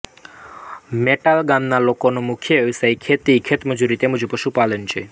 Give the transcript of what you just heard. મેટાલ ગામના લોકોનો મુખ્ય વ્યવસાય ખેતી ખેતમજૂરી તેમ જ પશુપાલન છે